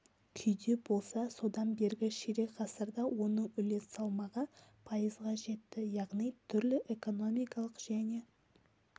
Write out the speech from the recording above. күйде болса содан бергі ширек ғасырда оның үлес салмағы пайызға жетті яғни түрлі экономикалық және